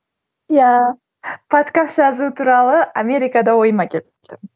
иә подкаст жазу туралы америкада ойыма келіпті